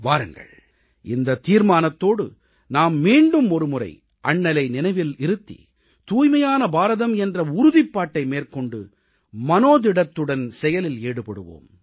வாருங்கள் இந்தத் தீர்மானத்தோடு நாம் மீண்டும் ஒருமுறை அண்ணலை நினைவில் இருத்தி தூய்மையான பாரதம் என்ற உறுதிப்பாட்டை மேற்கொண்டு மனோதிடத்துடன் செயலில் ஈடுபடுவோம்